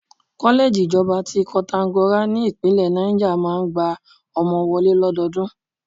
Kọ́lẹ́ẹ̀jì Ìjọba ti Koǹtàgora ní ìpínlẹ̀ Náìjà máa ń gba ọmọ wọlé lọ́dọọdún